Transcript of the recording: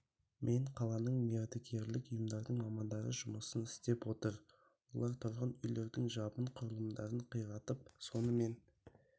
мен қаланың мердігерлік ұйымдардың мамандары жұмысын істеп отыр олар тұрғын үйлердің жабын құрылымдарын қиратып сонымен